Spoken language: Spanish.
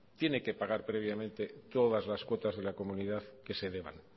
tiene que pagar previamente todas las cuotas de la comunidad que se deban